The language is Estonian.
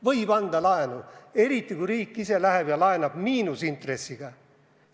Võib anda laenu, eriti kui riik ise laenab miinusintressiga.